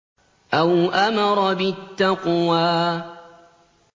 أَوْ أَمَرَ بِالتَّقْوَىٰ